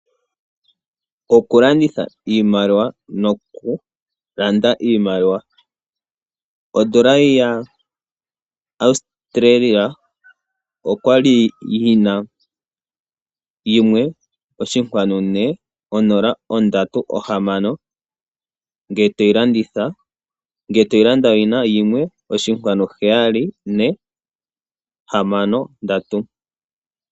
Okulanditha iimaliwa nokulanda iimaliwa. Odola yaAustralia oya li yi na 1.4036 ngele to yi landitha, omanga ngele to yi landa oyi na 1.7463.